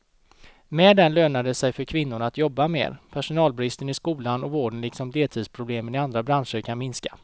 Med den lönar det sig för kvinnorna att jobba mer, personalbristen i skolan och vården liksom deltidsproblemen i andra branscher kan minska.